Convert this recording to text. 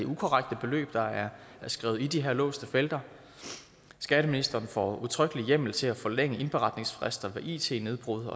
ukorrekte beløb der er skrevet i de her låste felter skatteministeren får udtrykkelig hjemmel til at forlænge indberetningsfrister ved it nedbrud